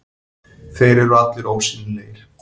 Þeir eru allir ósýnilegir.